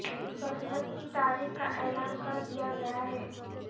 بسنت کی تاریخ کا اعلان کر دیا گیا ہے